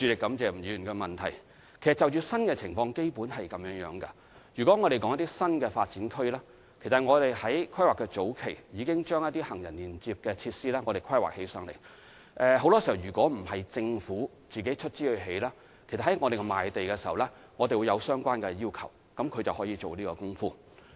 對於新的情況，基本上我們的處理方法是，如果是新發展區，其實在規劃的初期，我們已經對行人連接設施作出規劃，而很多時候，如果不是政府出資興建，政府在賣地時亦會作出相關的要求，業權人因而可以進行這些工程。